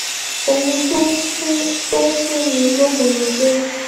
um ohun tó ń fún tó ń fún mi lókun ni pé